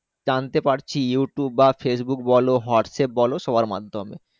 জানতে পারছি Youtube বা Facebook বলো Whatsapp বলো সবের মাধ্যমে।